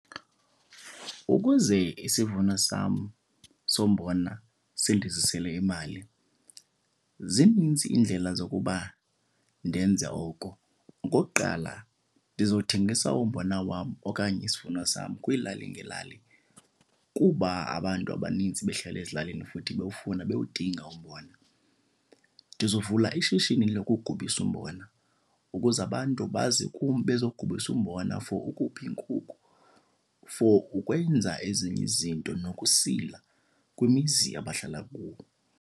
Ukuze isivuno sam sombona sindizisele imali zinintsi iindlela zokuba ndenze oko. Okokuqala ndizothengisa umbona wam okanye isivuno sam kwiilali ngeelali kuba abantu abanintsi behlala ezilalini futhi bewufuna, bewudinga umbona. Ndizovula ishishini lokugubisa umbona ukuze abantu baze kum bezogubisa umbona for ukupha iinkukhu, for ukwenza ezinye izinto nokusila kwimizi abahlala kuyo.